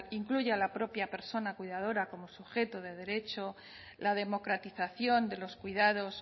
incluye a la propia persona cuidadora como sujeto de derecho la democratización de los cuidados